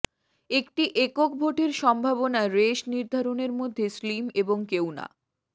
একটি একক ভোটের সম্ভাবনা রেস নির্ধারণের মধ্যে স্লিম এবং কেউ না